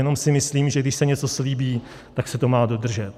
Jenom si myslím, že když se něco slíbí, tak se to má dodržet.